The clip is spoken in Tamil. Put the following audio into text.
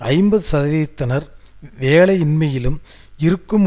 ஐம்பது சதவிகிதத்தினர் வேலையின்மையிலும் இருக்கும்